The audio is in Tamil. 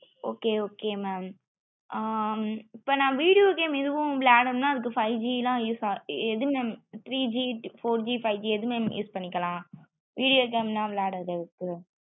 okay okay mam ஆஹ் இப்போ னா video game ஏதும் விளயடுனும்ன அதுக்கு five G ல use ஆகு எது mam three G four G five G எது mam use பண்ணிக்கலாம் video game ல விளையாடுறதுக்கு